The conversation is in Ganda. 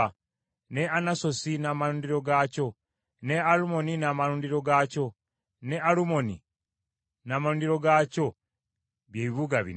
ne Anasosi n’amalundiro gaakyo, ne Alumoni n’amalundiro gaakyo ne Alumoni n’amalundiro gaakyo bye bibuga bina.